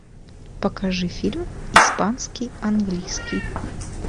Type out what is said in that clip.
покажи фильм испанский английский